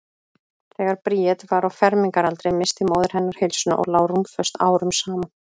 Þegar Bríet var á fermingaraldri missti móðir hennar heilsuna og lá rúmföst árum saman.